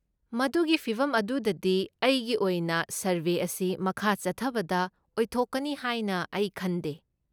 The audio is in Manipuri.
ꯃꯗꯨꯒꯤ ꯐꯤꯕꯝ ꯑꯗꯨꯗꯗꯤ, ꯑꯩꯒꯤ ꯑꯣꯏꯅ ꯁꯔꯕꯦ ꯑꯁꯤ ꯃꯈꯥ ꯆꯠꯊꯕꯗ ꯑꯣꯏꯊꯣꯛꯀꯅꯤ ꯍꯥꯏꯅ ꯑꯩ ꯈꯟꯗꯦ꯫